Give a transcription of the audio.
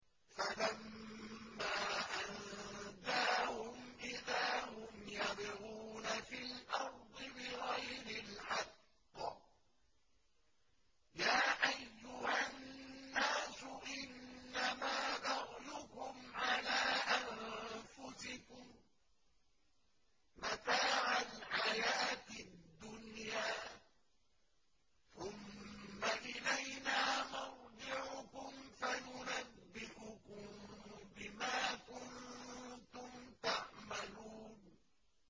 فَلَمَّا أَنجَاهُمْ إِذَا هُمْ يَبْغُونَ فِي الْأَرْضِ بِغَيْرِ الْحَقِّ ۗ يَا أَيُّهَا النَّاسُ إِنَّمَا بَغْيُكُمْ عَلَىٰ أَنفُسِكُم ۖ مَّتَاعَ الْحَيَاةِ الدُّنْيَا ۖ ثُمَّ إِلَيْنَا مَرْجِعُكُمْ فَنُنَبِّئُكُم بِمَا كُنتُمْ تَعْمَلُونَ